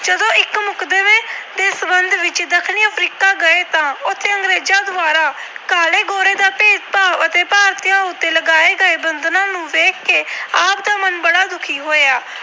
ਗਏ ਤਾਂ ਉਥੇ ਅੰਗਰੇਜਾਂ ਦੁਆਰਾ ਕਾਲੇ-ਗੋਰੇ ਦਾ ਭੇਦਭਾਵ ਅਤੇ ਭਾਰਤੀਆਂ ਉਤੇ ਲਗਾਏ ਗਏ ਬੰਧਨਾਂ ਨੂੰ ਦੇਖ ਕੇ ਆਪ ਦਾ ਮਨ ਬੜਾ ਦੁਖੀ ਹੋਇਆ।